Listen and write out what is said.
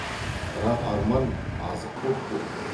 бірақ арман азық боп па еді